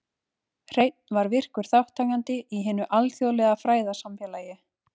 Hreinn var virkur þátttakandi í hinu alþjóðlega fræðasamfélagi.